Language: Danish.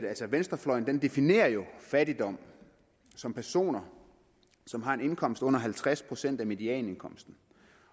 venstrefløjen jo definerer fattigdom som personer som har en indkomst på under halvtreds procent af medianindkomsten